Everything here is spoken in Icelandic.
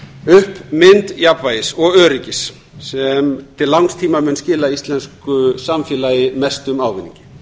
upp mynd jafnvægis og öryggis sem til langs tíma mun skila íslensku samfélagi mestum ávinningi